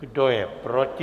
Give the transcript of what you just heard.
Kdo je proti?